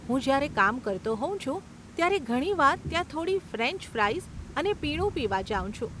હું જયારે કામ કરતો હોઉં છું ત્યારે ઘણી વાર ત્યાં થોડી ફ્રેંચ ફ્રાઈઝ અને પીણું પીવા જાઉં છું.